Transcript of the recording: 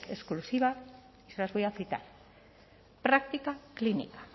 exclusiva y se las voy a citar práctica clínica